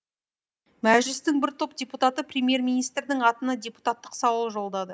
мәжілістің бір топ депутаты премьер министрдің атына депутаттық сауал жолдады